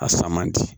A fa man di